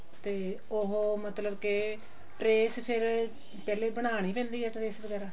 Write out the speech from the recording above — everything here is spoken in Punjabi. ਤੇ ਉਹ ਮਤਲਬ ਕੇ trace ਫ਼ੇਰ ਪਹਿਲੇ ਬਣਾਉਣੀ ਪੈਂਦੀ ਹੈ trace ਵਗੇਰਾ